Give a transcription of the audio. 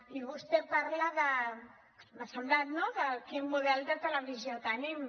i vostè parla m’ha semblat no de quin model de televisió tenim